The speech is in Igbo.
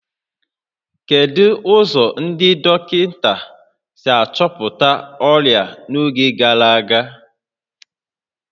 Kedu ụzọ ndị dọkịta si achọpụta ọrịa n'oge gara aga?